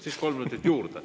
Siis kolm minutit juurde.